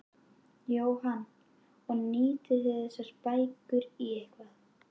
Jóhann: Og nýtið þið þessar bækur í eitthvað?